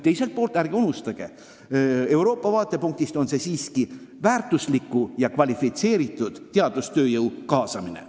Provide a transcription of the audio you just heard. Teiselt poolt, Euroopa vaatepunktist on see aga siiski väärtusliku ja kvalifitseeritud teadustööjõu kaasamine.